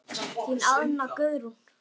Þín Anna Guðrún.